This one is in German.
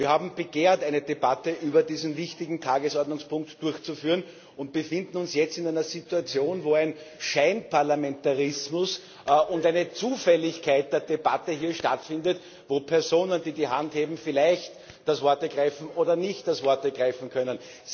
Wir haben begehrt, eine Debatte über diesen wichtigen Tagesordnungspunkt durchzuführen, und befinden uns jetzt in einer Situation, wo ein Scheinparlamentarismus und eine Zufälligkeit der Debatte stattfinden, wo Personen, die die Hand heben, vielleicht das Wort ergreifen oder nicht das Wort ergreifen können.